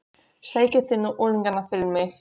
Sækið þið nú unglingana fyrir mig!